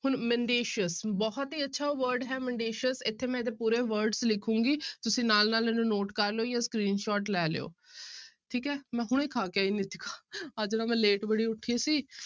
ਹੁਣ mendacious ਬਹੁਤ ਹੀ ਅੱਛਾ word ਹੈ mendacious ਇੱਥੇ ਮੈਂ ਇਹਦੇ ਪੂਰੇ words ਲਿਖਾਂਗੀ ਤੁਸੀਂ ਨਾਲ ਨਾਲ ਇਹਨੂੰ note ਕਰ ਲਇਓ ਜਾਂ screenshot ਲੈ ਲਇਓ ਠੀਕ ਹੈ ਮੈਂ ਹੁਣੇ ਖਾ ਕੇ ਆਈ ਨੀਤਿਕਾ ਅੱਜ ਨਾ ਮੈਂ late ਬੜੀ ਉੱਠੀ ਸੀ